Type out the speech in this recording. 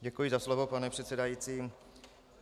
Děkuji za slovo, pane předsedající.